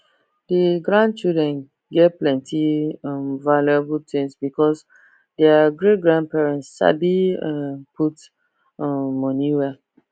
the grandchildren get plenty um valuable things because their greatgrandparents sabi um put um money well